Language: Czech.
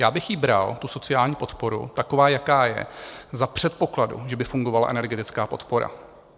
Já bych ji bral, tu sociální podporu, taková, jaká je, za předpokladu, že by fungovala energetická podpora.